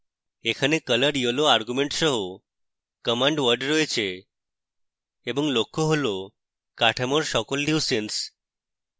এখানে color yellow argument সহ command word রয়েছে এবং লক্ষ্য হল কাঠামোর সকল leucines